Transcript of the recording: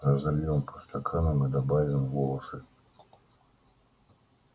разольём по стаканам и добавим волосы